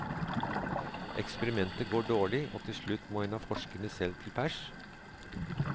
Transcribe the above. Eksperimentet går dårlig, og til slutt må en av forskerne selv til pers.